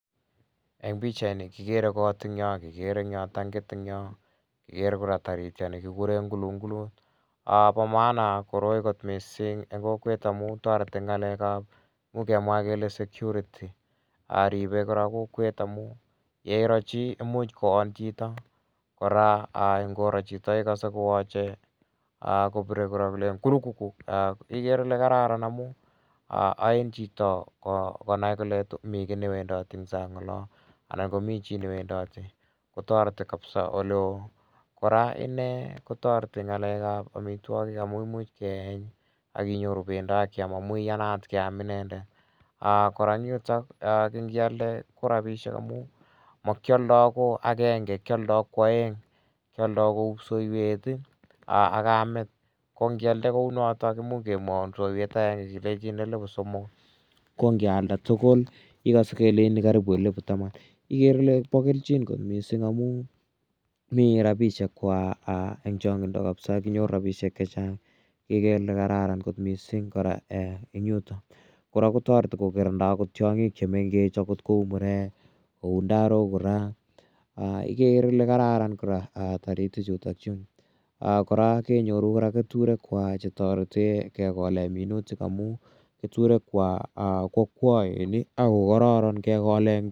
Eng pichaii ni kikere kot eng yo ak kikere tankit eng yoo ak ikere kora taritiet ni kikure kulungulut bo maana koroi missing eng kokwet amu toreti eng ngalekab kemwakele kele security ribei kora kokwet amu yeiro chi imuch koon chito kora ngoro chito ikase kowachei kurukungu ikere ile kararan amu ain chito konai kole mi kiy ne wendoti eng sang olo anan ko mi chi newendoti kora kotoreti kabsa ole ooh. Kora ine toreti eng ngalekab omitwogik amu imuch keeny ak inyoru bendo ak keam amu iyanat keam inendet. Kora eng yutok kealde ko rabiishekkora eng yutok kialde ko makialdoi ko agenge ngialde ko kwaeng kialdoi kou psoiwet akame ko kialde kou notok komuch kealda kipsoiywet agenge kelejin somok ko kealda tugul ikase kelejini karibu elfu taman ikere ile bo keljin missing amu mi rabiishek kwak eng chongindo kabisa kinyoru rabiishek che chang. Kora kotoreti kokirindoi tiongik che mengech angot kou murek kou ndarok ikere kora ile kararan kora taritichu. Kora kenyoru keturekwak chetorete kekole minutik amu keturekwak ko kwakwae ak kokororon kekole.